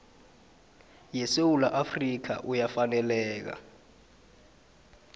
yesewula afrika uyafaneleka